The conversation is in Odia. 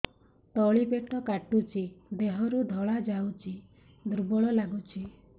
ତଳି ପେଟ କାଟୁଚି ଦେହରୁ ଧଳା ଯାଉଛି ଦୁର୍ବଳ ଲାଗୁଛି